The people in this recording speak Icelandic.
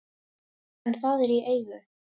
en það er í eigu